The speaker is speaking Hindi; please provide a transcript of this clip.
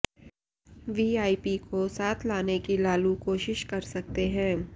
वीआईपी को साथ लाने की लालू कोशिश कर सकते हैं